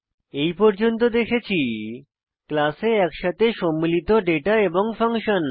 এই পর্যন্ত দেখেছি ক্লাসে একসাথে সম্মিলিত ডেটা এবং ফাংশন